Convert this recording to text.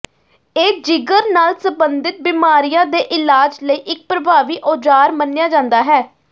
ਇਹ ਜਿਗਰ ਨਾਲ ਸਬੰਧਿਤ ਬਿਮਾਰੀਆਂ ਦੇ ਇਲਾਜ ਲਈ ਇੱਕ ਪ੍ਰਭਾਵੀ ਔਜ਼ਾਰ ਮੰਨਿਆ ਜਾਂਦਾ ਹੈ